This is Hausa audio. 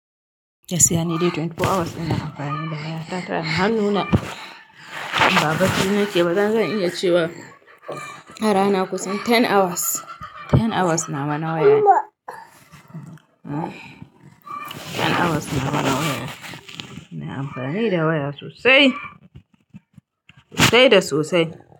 Gaskiya ni dai twenty four hours ina amfani da waya. Tana hanuna, ba bacci nike da zan iya cewa arana kusan ten hours, ten hours nawa na wayane. Ten hours nawa na wayane, ina amfani da waya sosai, sosai da sosai.